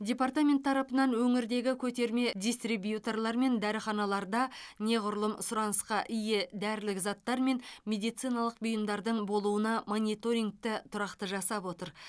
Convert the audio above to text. департамент тарапынан өңірдегі көтерме дистрибьюторлар мен дәріханаларда неғұрлым сұранысқа ие дәрілік заттар мен медициналық бұйымдардың болуына мониторингті тұрақты жасап отыр